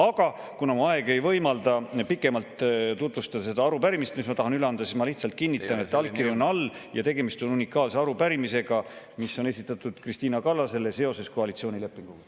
Aga kuna mu aeg ei võimalda pikemalt tutvustada seda arupärimist, mida ma tahan üle anda, siis ma lihtsalt kinnitan, et allkiri on all ja tegemist on unikaalse arupärimisega, mis on esitatud Kristina Kallasele seoses koalitsioonilepinguga.